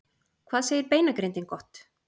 Hvað segir beinagrindin gott!